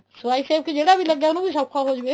ਸਫਾਈ ਸੇਵਕ ਜਿਹੜਾ ਵੀ ਲੱਗਾ ਉਹਨੂੰ ਵੀ ਸੋਖਾ ਹੋ ਜਵੇ